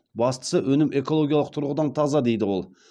бастысы өнім экологиялық тұрғыдан таза дейді ол